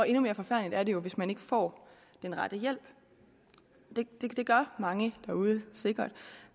endnu mere forfærdeligt er det jo hvis man ikke får den rette hjælp det gør mange derude sikkert